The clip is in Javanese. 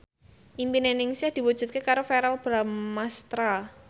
impine Ningsih diwujudke karo Verrell Bramastra